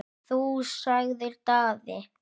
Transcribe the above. Þú, sagði Daði.